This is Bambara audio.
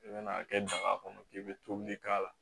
I bɛna a kɛ daga kɔnɔ k'i bɛ tobili k'a la